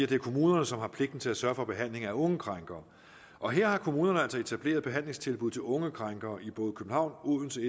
det er kommunerne som har pligten til at sørge for behandlingen af unge krænkere og her har kommunerne altså etableret behandlingstilbud til unge krænkere i både københavn odense